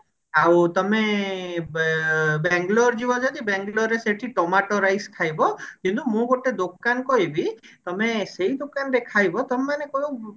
ଆଉ ତମେ ବେ ବେଙ୍ଗେଲୋରେ ଯିବ ଯଦି ବେଙ୍ଗେଲୋର ରେ ତମେ ସେଠି ଟମାଟ rice ଖାଇବ କିନ୍ତୁ ମୁଁ ଗୋଟେ ଦୋକାନ କହିବି ତମେ ସେଇ ଦୋକାନରେ ଖାଇବ ତମେମାନେ କଣ